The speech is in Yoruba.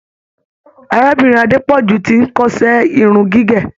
Arábìnrin Adepoju ti n kọsẹ irun gígé.